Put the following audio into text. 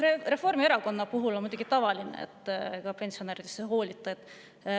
Reformierakonna puhul on muidugi tavaline, et pensionäridest ei hoolita.